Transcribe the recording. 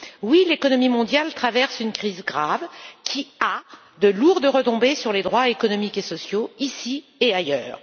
Oui, l'économie mondiale traverse une crise grave qui a de lourdes retombées sur les droits économiques et sociaux, ici et ailleurs.